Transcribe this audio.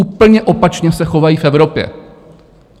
Úplně opačně se chovají v Evropě.